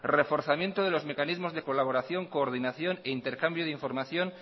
reforzamiento de los mecanismos de colaboración coordinación e intercambio de información